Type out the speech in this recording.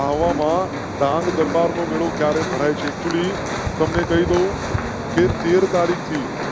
આહવા માં ડાંગ દરબાર મેળો ક્યારે ભર actually ખેર તીર તારીખ થી